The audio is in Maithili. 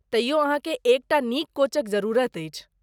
तइयो अहाँके एक टा नीक कोचक जरुरत अछि।